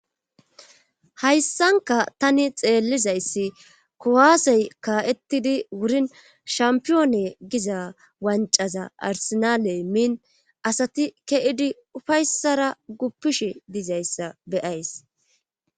Hayssanka tani xeellizayssi kowaasey ka'ettidi wurin shampiyoone giza wancaza arsenaaley miin asati ke'idi ufayssara guppishi dizayssa beyays.